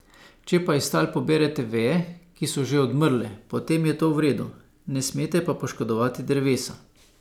Če pa iz tal poberete veje, ki so že odmrle, potem je to v redu, ne smete pa poškodovati drevesa.